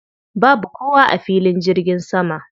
Babu kowa a filin jirgin sama.